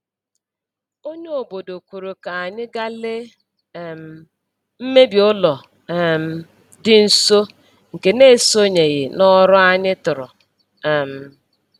Onye obodo kwuru ka anyị gaa lee um mmebi ụlọ um dị nso, nke na-esoghị n’ọrụ anyị tụrụ. um